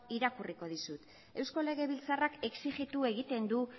irakurriko dizut eusko legebiltzarrak exijitu egiten du